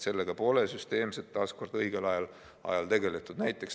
Sellega pole süsteemselt õigel ajal tegeldud.